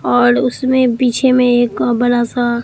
और उसमें पीछे में एक बड़ा सा--